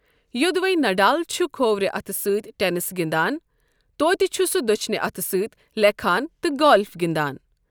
یۆدوَے Nadal چھُ کھوورِ اَتھہٕ سۭتؠ ٹینِس گِنٛدان، توتہِ چھُ سُہ دۆچھنہٕ اَتھہٕ سۭتؠ لیکھان تہٕ گالف گِنٛدان۔